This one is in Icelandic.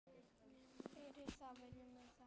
Fyrir það viljum við þakka.